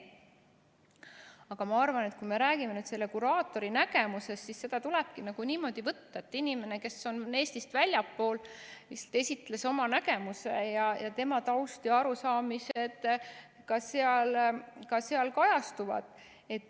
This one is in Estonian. Aga ma arvan, et kui me räägime selle kuraatori nägemusest, siis seda tulebki niimoodi võtta, et inimene, kes on väljastpoolt Eestit, esitles oma nägemuse ja tema taust ja arusaamised ka seal kajastuvad.